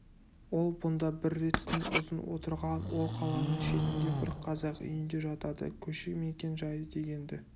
ол бұнда бір рет күн ұзын отырған ол қаланың шетінде бір қазақ үйінде жатады көше мекен-жайы дегенді